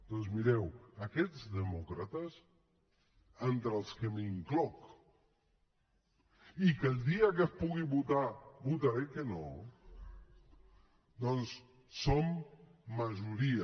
doncs mireu aquests demòcrates entre els que m’incloc i que el dia que es pugui votar votaré que no som majoria